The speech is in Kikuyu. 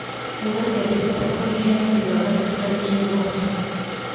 hura ciathĩ ciothe kwambĩrĩria mweri wa gatatũ tarĩki mũgwanja